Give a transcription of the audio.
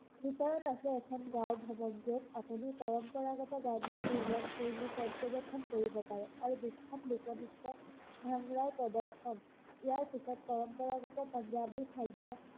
ভিতৰত আছে এখন গাও ভৱনটোত আপুনি পৰম্পৰাগত গাও বা জীৱনশৈলী পৰ্যবেক্ষন কৰিব পাৰে আৰু বিখ্যাত লোকনৃত্য ভাংৰাৰ প্ৰদৰ্শন ইয়াৰ ভিতৰত পৰম্পৰাগত পঞ্জাৱী খাদ্য